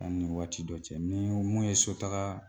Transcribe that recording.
Yani wagati dɔ cɛ, nii mun ye so tagaa